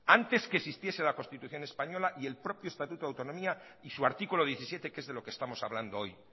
antes que existiese la constitución española y el propio estatuto de autonomía y su artículo diecisiete que es de lo que estamos hablando hoy